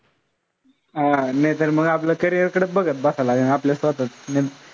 हा नैतर मग आपलं carrier कडचं बघत बसायला लागेन आपल्या स्वतःच.